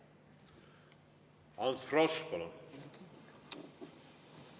Ants Frosch, palun!